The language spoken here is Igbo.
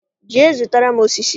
Jee zụtara m osisi!